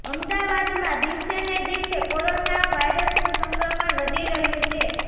અમદાવાદમાં દિવસે ને દિવસે કોરોના વાયરસનું સંક્રમણ વધી રહ્યું છે